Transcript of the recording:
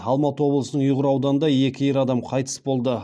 алматы облысының ұйғыр ауданында екі ер адам қайтыс болды